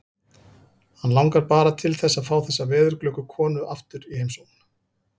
Hann langar bara til að fá þessa veðurglöggu konu aftur í heimsókn.